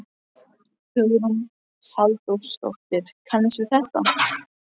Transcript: Hugrún Halldórsdóttir: Kannist við þetta?